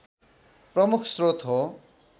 प्रमुख स्रोत हो